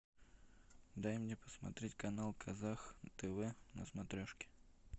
дай мне посмотреть канал казах тв на смотрешке